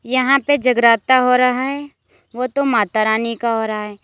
यहां पे जगराता हो रहा है वो तो माता रानी का हो रहा है।